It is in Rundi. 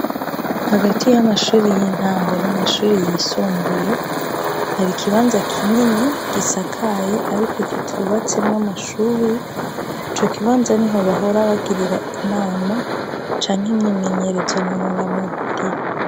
Hagati y'amashure y'intango n'amashure yisumbuye har'ikibanza kinini gisakaye ariko kitubatsemwo amashure. Icokibanza niho bahora bagirira inama canke imyimenyerezo nonora mubiri.